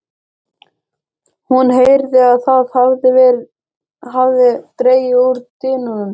Hún heyrði að það hafði dregið úr dyninum.